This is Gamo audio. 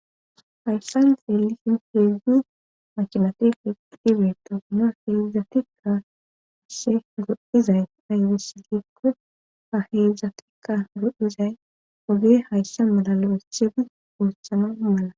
hayssan zeelisin heedzdzu makimatife idibeeta no heedzdzatikka ashe goddizay aybesilikko ha heedzdzatikka godizay woge haysse malalo iche di guuthana mala